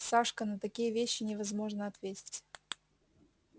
сашка на такие вещи невозможно ответить